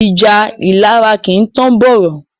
Ìjà ìlara kìí tán bọ̀rọ̀.